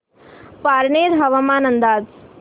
पारनेर हवामान अंदाज